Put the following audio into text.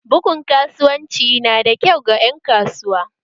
Bugun kasuwanci nada kyau ga ƴan kasuwa